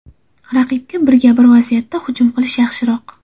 Raqibga birga-bir vaziyatda hujum qilish yaxshiroq.